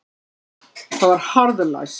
Það var harðlæst.